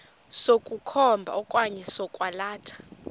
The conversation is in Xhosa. sokukhomba okanye sokwalatha